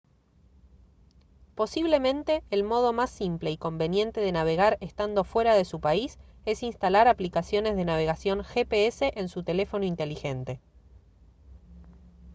posiblemente el modo más simple y conveniente de navegar estando fuera de su país es instalar aplicaciones de navegación gps en su teléfono inteligente